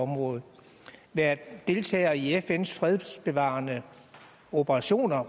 område være deltager i fns fredsbevarende operationer